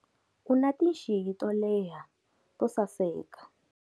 U na tinxiyi to leha to saseka.